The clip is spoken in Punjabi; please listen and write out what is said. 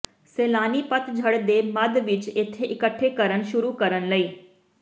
ਸੈਲਾਨੀ ਪਤਝੜ ਦੇ ਮੱਧ ਵਿੱਚ ਇੱਥੇ ਇਕੱਠੇ ਕਰਨ ਸ਼ੁਰੂ ਕਰਨ ਲਈ